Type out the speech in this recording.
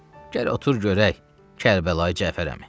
Gəl otur görək, Kərbəlayı Cəfər əmi.